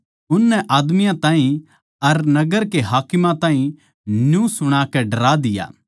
उननै आदमियाँ ताहीं अर नगर के हाकिमां ताहीं न्यू सुणाकै डरा दिया